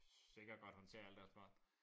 Sikkert godt håndtere alle deres børn